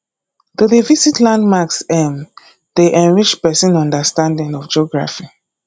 to dey visit landmarks um dey enrich pesin understanding of geography